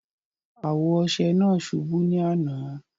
Awo ọṣẹ naa ṣúbú ni àná.